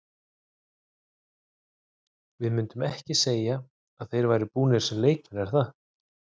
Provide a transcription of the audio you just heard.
Við myndum ekki segja að þeir væru búnir sem leikmenn er það?